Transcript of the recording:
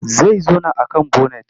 Zai zauna a man bonet.